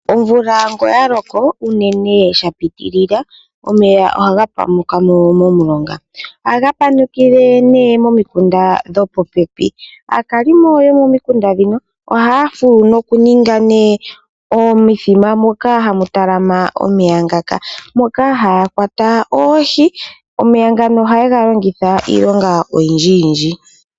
Omvula nge oya loko unene sha pitilila omeya ohaga panukamo mo mulonga. Ohaga panukile nee mo mikunda dho popepi. Aakalimo yo momikunda dhino ohaya fulu noku ninga nee omithima moka hamu talama omeya ngaka. Moka haya kwata Oohi, omeya ngano oha yega longitha iilonga oyindjiyindji.